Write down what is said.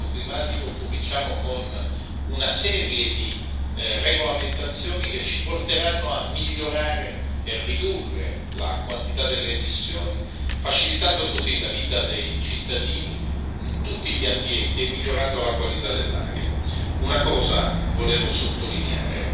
Dopo Parigi, dopo l'accordo sul cambiamento climatico, cominciamo con una serie di regolamentazioni che ci porteranno a migliorare e ridurre la quantità delle emissioni, facilitando così la vita dei cittadini in tutti gli ambienti e migliorando la qualità dell'aria.